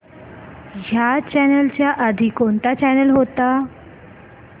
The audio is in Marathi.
ह्या चॅनल च्या आधी कोणता चॅनल होता